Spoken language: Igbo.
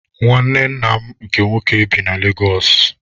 Nwanne nna m nke nwoke bi na Legosụ.